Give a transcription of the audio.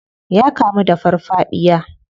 Ya kamu da farfadiya.